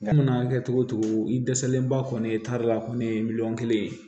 Mana kɛ cogo o cogo i dɛsɛlenba kɔni ye taari la kɔni miliyɔn kelen ye